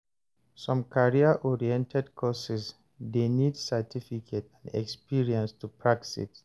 Some career oriented course de need certificate and experience to practice